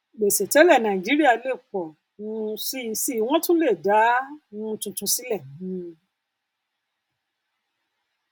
gbèsè tẹlẹ nàìjíríà lè pọ um síi síi wọn tún le dá um tuntun sílẹ um